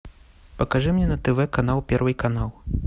покажи мне на тв канал первый канал